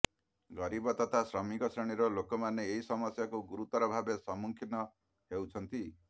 ଗରୀବ ତଥା ଶ୍ରମିକ ଶ୍ରେଣୀର ଲୋକମାନେ ଏହି ସମସ୍ୟାକୁ ଗୁରୁତର ଭାବେ ସମ୍ମୁଖିନ ହେଉଛନ୍ତି